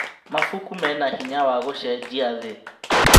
Mabuku mena hinya wa gũcenjia thĩ.